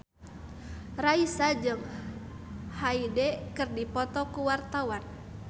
Raisa jeung Hyde keur dipoto ku wartawan